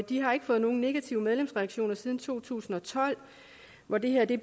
de har ikke fået nogen negative medlemsreaktioner siden to tusind og tolv hvor det her blev